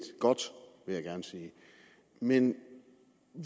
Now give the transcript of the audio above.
godt vil jeg gerne sige men